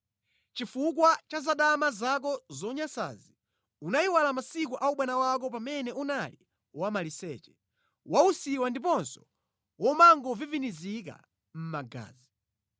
Chifukwa cha zadama zako zonyansazi unayiwala masiku a ubwana wako pamene unali wamaliseche, wausiwa ndiponso womangovivinizika mʼmagazi.